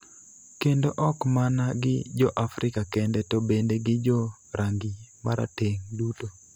kendo ok mana gi Jo-Afrika kende, to bende gi jo rangi marateng' duto."